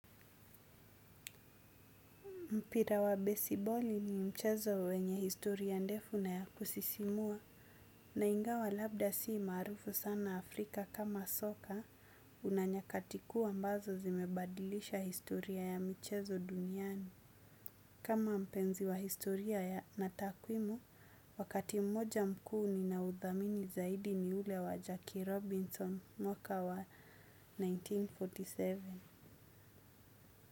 Mpira wa besiboli ni mchezo wenye historia ndefu na ya kusisimua. Na ingawa labda si maarufu sana Africa kama soka, kuna nyakati kuu ambazo zimebadilisha historia ya michezo duniani. Kama mpenzi wa historia na takwimu, wakati mmoja mkuu ninaudhamini zaidi ni ule wa Jackie Robinson mwaka wa elfu moja na mia tisa na arobaini na saba.